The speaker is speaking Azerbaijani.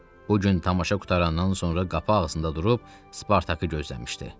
Bu gün tamaşa qurtarandan sonra qapı ağzında durub Spartakı gözləmişdi.